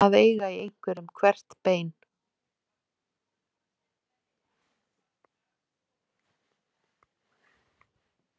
Að eiga í einhverjum hvert bein